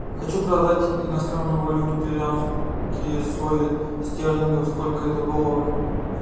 хочу продать иностранную валюту перуанские соли стерлингов сколько это в долларах